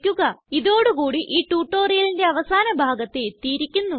ഇതോടു കൂടി ഈ tutorialന്റെ അവസാന ഭാഗത്ത് എത്തിയിരിക്കുന്നു